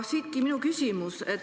Siitki minu küsimus.